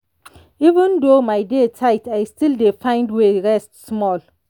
even though my day tight i still dey find way rest small.